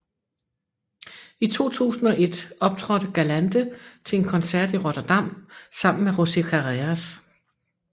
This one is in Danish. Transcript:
I 2001 optrådte Galante til en koncert i Rotterdam sammen med José Carreras